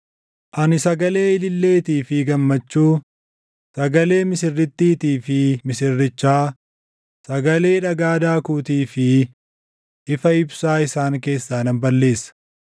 “Ani sagalee ililleetii fi gammachuu, sagalee misirrittiitii fi misirrichaa sagalee dhagaa daakuutii fi ifa ibsaa isaan keessaa nan balleessa.